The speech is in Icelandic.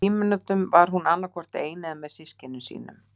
Í frímínútum var hún annað hvort ein eða með systkinum sínum.